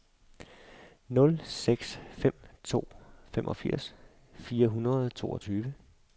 nul seks fem to femogfirs fire hundrede og toogtyve